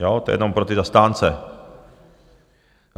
Jo, to je jenom pro ty zastánce.